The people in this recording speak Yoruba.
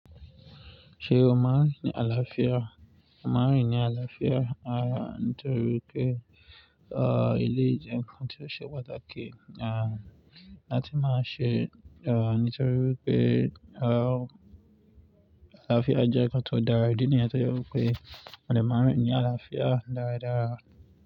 Ṣé o maa rín ni àlàáfíà? Mo maa n rín ní àlàáfíà, àní torí pé, ah, eleyii jẹn kan tí ó ṣe pàtàkì. Ah, láti má ṣe, ah, nítorí pé, ah, àlàáfíà jẹ́ nǹkan tó dára. Idi niyen tò je wipé, à de màá rín ní àlàáfíà dáradára.